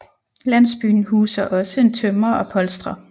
Landsbyen huser også en tømrer og polstrer